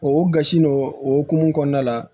O gosi nɔn o hokumu kɔnɔna la